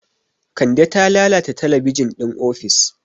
Kande ta lalata talabijin ɗin ofis.